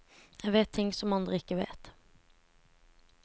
Jeg vet ting som andre ikke vet.